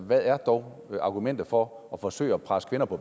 hvad er dog argumentet for at forsøge at presse kvinder på